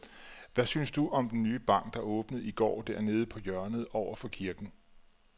Hvad synes du om den nye bank, der åbnede i går dernede på hjørnet over for kirken?